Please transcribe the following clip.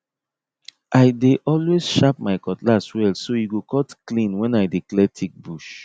i dey always sharp my cutlass well so e go cut clean when i dey clear thick bush